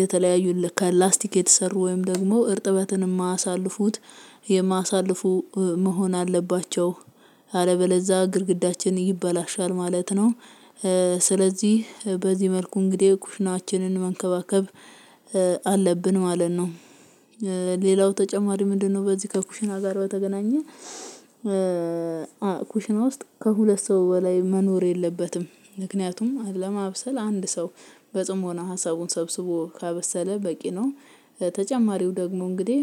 የተለያዩ ከላስቲክ የተሰሩ ወይም ደግሞ እርጥበትን የማሳልፉት የማሳልፉ መሆን አለባቸው። አለበለዛ ግድግዳችን ይበላሻል ማለት ነው። ስለዚህ በዚህ መልኩ እንግዲህ ኩሽናችንን መንከባከብ አለብን ማለት ነው። ሌላው ተጨማሪ ምንድነው? በዚህ ከኩሽና ጋር በተገናኘ ኩሽና ውስጥ ከሁለት ሰው በላይ መኖር የለበትም። ምክንያቱም ለማብሰል አንድ ሰው በጽሞና ሀሳቡን ሰብስቦ ካበሰለ በቂ ነው። ተጨማሪው ደግሞ እንግዲህ